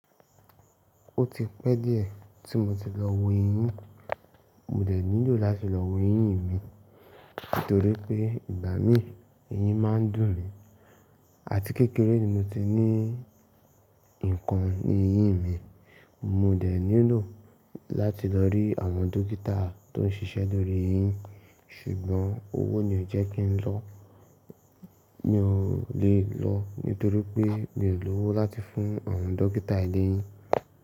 Ó ti pẹ́ díẹ̀ tí mo ti lọ wo eyín, mo dẹ̀ nílò láti lọ wo eyín mi, nítorí pé ìgbà mí ì, eyín máa ń dùn mí, àti kékeré ni mo ti ní nǹkan ní eyín mi, mo dẹ̀ nílò láti lọ rí àwọn dókítà tó ń ṣiṣẹ́ lórí eyín, ṣùgbọ́n owó ni ó jẹ́ kí n lọ, mi ò lè lọ nítorí pé mi ò lówó láti fún àwọn dókítà eléyín.